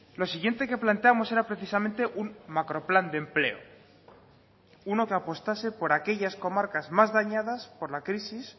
lo siguiente que planteamos era precisamente un macroplan de empleo uno que apostase por aquellas comarcas más dañadas por la crisis